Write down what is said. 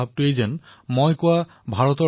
পেন্নিনডা পাৰ্মেগণ্ডানু হিমাৱন্তনু